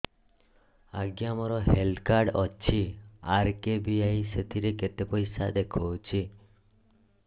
ଆଜ୍ଞା ମୋର health card ଅଛି ଆର୍.କେ.ବି.ୱାଇ ସେଥିରେ କେତେ ପଇସା ଦେଖଉଛି